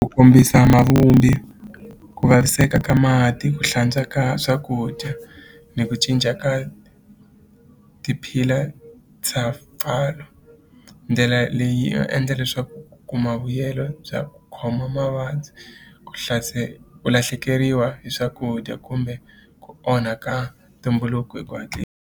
Ku kombisa muvumbi ku vaviseka ka mati ku hlantswa ka swakudya ni ku cinca ka ti-pillar ndlela leyi va endla leswaku ku kuma vuyelo bya ku khoma mavabyi ku ku lahlekeriwa hi swakudya kumbe ku onha ka ntumbuluko hi ku .